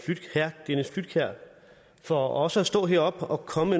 flydtkjær for også at stå heroppe og komme